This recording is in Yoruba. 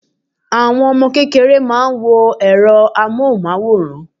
Àwọn Ọmọ kékeré máa ń wo èro amóhùn máwòrán